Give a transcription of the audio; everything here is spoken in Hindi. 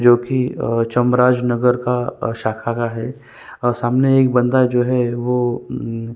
जोकि अ चमराज नगर का शाखा का है और सामने एक बंदा जो है वो --